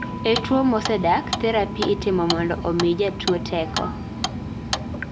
e tuwo mosedak, therapy itimo mondo omii jatuwo teko